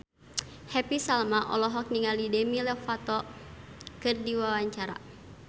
Happy Salma olohok ningali Demi Lovato keur diwawancara